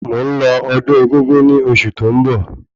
Mò ń lọ ọdún egúngún ni oṣù tó ń bọ̀